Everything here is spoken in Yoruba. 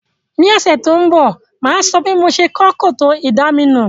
Ní òsẹ̀ to n bò, máa so bí mo se kó kòtò ìdaminù